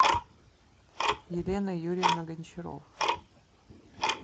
елена юрьевна гончарова